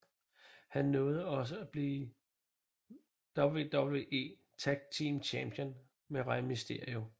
Han nåede også at blive WWE Tag Team Champion med Rey mysterio